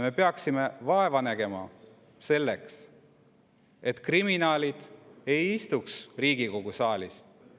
Me peaksime vaeva nägema selleks, et kriminaalid ei istuks Riigikogu saalis.